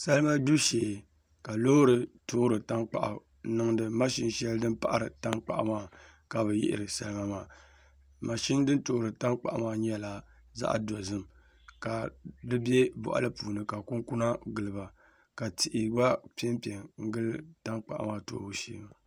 Salima gbibu shee ka loori toori tankpaɣu n niŋdi mashin shɛli din paɣari tankpaɣu maa ni ka bi yihiri salima maa mashin din paɣari tankpaɣu maa nyɛla zaɣ dozim ka di bɛ boɣali puuni ka kunkuna giliba ka tihi gba piɛ piɛ n gili tankpaɣu maa toobu shee maa